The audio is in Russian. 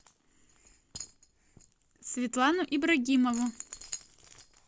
светлану ибрагимову